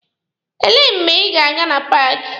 Elee mgbe ị ga-aga na paaki?